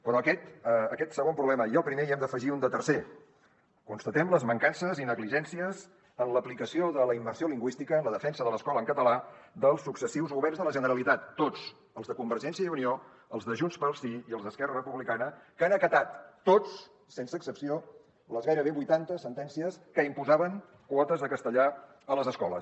però a aquest segon problema i al primer n’hem d’afegir un de tercer constatem les mancances i negligències en l’aplicació de la immersió lingüística en la defensa de l’escola en català dels successius governs de la generalitat tots els de convergència i unió els de junts pel sí i els d’esquerra republicana que han acatat tots sense excepció les gairebé vuitanta sentències que imposaven quotes de castellà a les escoles